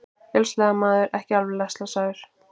Vélsleðamaður ekki alvarlega slasaður